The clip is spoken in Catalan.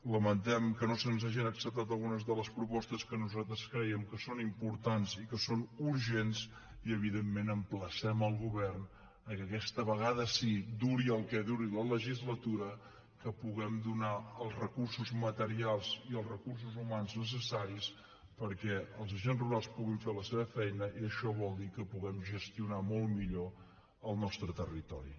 lamentem que no se’ns hagin acceptat algunes de les propostes que nosaltres creiem que són importants i que són urgents i evidentment emplacem el govern que aquesta vegada sí duri el que duri la legislatura puguem donar els recursos materials i els recursos humans necessaris perquè els agents rurals puguin fer la seva feina i això vol dir que puguem gestionar molt millor el nostre territori